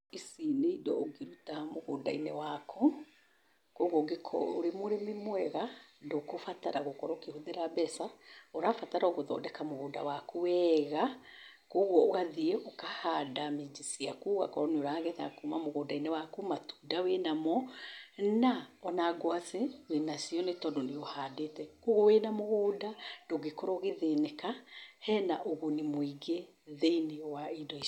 Ici nĩindo ũngĩruta mũgũndainĩ waku. Kwogwo ũngĩkorwo wĩmũrĩmi mwega ndũgũbatara nĩgũkorwo ũkĩhũthĩra mbeca. ũrabataroa o gũthondeka mũgũnda waku wega. Kwogwo ũgathiĩ ũkanda miji ciaku ũgakorwo nĩũragetha kuuma mũgũnda-inĩ waku, matunda wĩnamo na o nangwacĩ wĩnacio nĩtondũ nĩũhandĩte .Kwogwo wĩna mũgũnda ndũngĩrwo ũgĩthĩnĩka, hena ũguni mũingĩ thĩiniĩ wa indo icio.